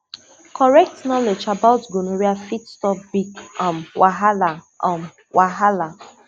correct knowledge about gonorrhea fit stop big um wahala um wahala